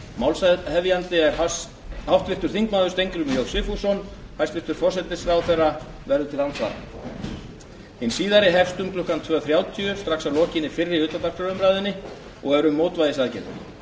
málshefjandi er háttvirtur þingmaður steingrímur j sigfússon hæstvirtur forsætisráðherra verður til andsvara hin síðari hefst um klukkan tvö þrjátíu strax að lokinni fyrri utandagskrárumræðunni og er um mótvægisaðgerðir